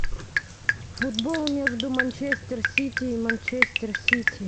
футбол между манчестер сити и манчестер сити